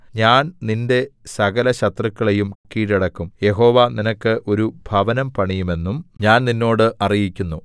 ഞാൻ നിന്റെ സകലശത്രുക്കളെയും കീഴടക്കും യഹോവ നിനക്ക് ഒരു ഭവനം പണിയുമെന്നും ഞാൻ നിന്നോട് അറിയിക്കുന്നു